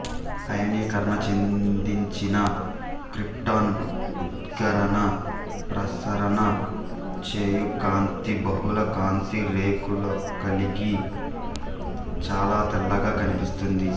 ఆయనీకరణ చెందించిన క్రిప్టాన్ ఉద్గారణ ప్రసరణ చెయ్యుకాంతి బహుళ కాంతి రేఖలుకలిగి చాలా తెల్లగా కన్పిస్తుంది